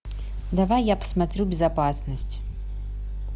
давай я посмотрю безопасность